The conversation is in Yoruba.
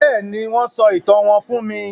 Béèni, wón sọ ìtàn wón fún mí